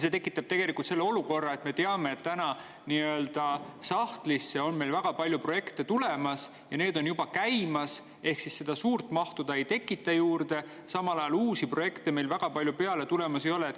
See tekitab tegelikult olukorra, kus me teame, et täna on meil sahtlisse väga palju projekte tulemas ja need on juba käimas, ehk seda suurt mahtu see ei tekita juurde, samal ajal meil uusi projekte väga palju peale tulemas ei ole.